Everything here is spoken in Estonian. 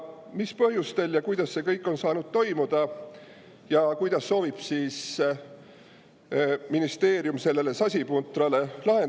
Mis põhjustel ja kuidas see kõik on saanud toimuda ja kuidas soovib ministeerium sellele sasipuntrale lahendust leida?